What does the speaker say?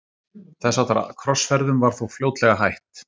þess háttar krossferðum var þó fljótlega hætt